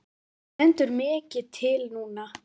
Það stendur mikið til núna.